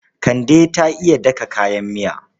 Kande ta iya daka kayan miya.